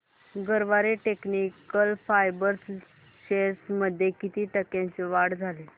Garware technical fibres shares मध्ये किती टक्क्यांची वाढ झाली